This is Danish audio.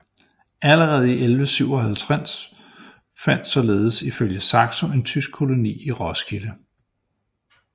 Allerede i 1157 fandtes således ifølge Saxo en tysk koloni i Roskilde